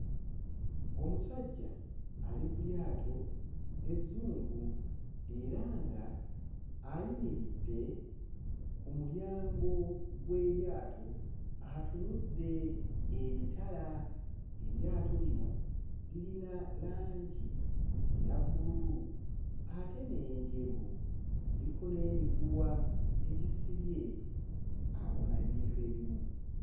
Omusajja ali ku lyato ezzungu era ng'ayimiridde ku mulyango gw'eryato atunudde emitala. Eryato lino lirina langi eya bbululu ate n'enjeru, kuliko n'emiguwa egisebye awa... ebintu ebimu.